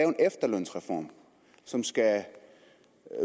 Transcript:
en efterlønsreform som skal